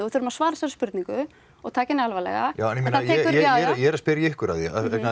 þurfum að svara þessari spurningu og taka henni alvarlega en ég er að spyrja ykkur að því